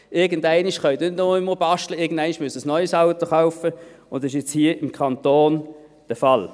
Irgendwann können Sie nicht mehr nur basteln, irgendwann müssen Sie ein neues Auto kaufen, und das ist jetzt hier beim Kanton der Fall.